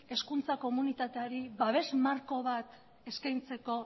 hezkuntza komunitateari babes marko bat eskaintzeko